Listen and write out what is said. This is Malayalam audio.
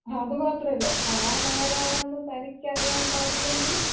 അത് മാത്രമല്ല. താനാരാണെന്ന് തനിക്കറിയാൻ പാടില്ലെങ്കിൽ...